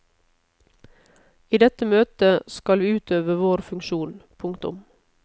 I dette møtet skal vi utøve vår funksjon. punktum